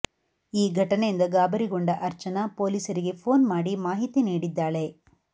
ಈ ಘಟನೆಯಿಂದ ಗಾಬರಿಗೊಂಡ ಅರ್ಚನಾ ಪೊಲೀಸರಿಗೆ ಫೋನ್ ಮಾಡಿ ಮಾಹಿತಿ ನೀಡಿದ್ದಾಳೆ